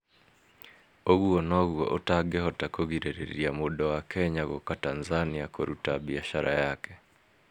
Ũguo noguo ũtangĩhota kũgirĩrĩria mũndũ wa Kenya gũũka Tanzania kũruta biacara yake…